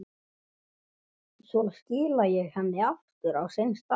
Svo skila ég henni aftur á sinn stað.